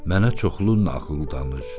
Mənə çoxlu nağıl danış.